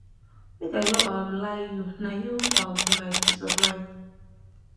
make i no um lie you na um you be my peace of mind